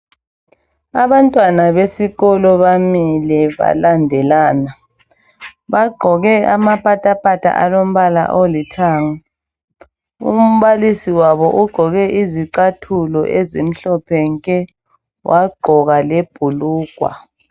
Abantwana besikolo bamile balandelana, bagqoke amapatapata alombala olithanga. Umbalisi wabo ugqoke izicathulo ezimhlophe nke wagqoka lebhulugwa.